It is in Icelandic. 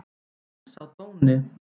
En sá dóni!